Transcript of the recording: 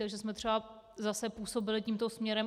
Takže jsme třeba zase působili tímto směrem.